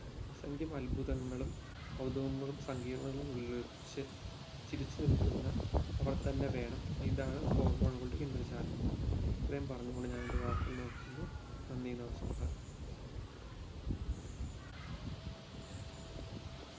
അസ്സംഗ്യം അത്ഭുതങ്ങളും കൗതുകങ്ങളും സങ്കീർണകളും ഉള്ളിൽ ഒളിപ്പിച്ച് ചിരിച്ചു നിൽക്കുന്ന അവർതന്നെ വേണം ഇതാണ് hormone ഉകളുടെ ഇന്ദ്രജാലം ഇത്രയും പറഞ്ഞുകൊണ്ട് ഞാനെൻറെ വാക്കുകൾ നിത്തുന്നു നന്ദി നമസ്കാരം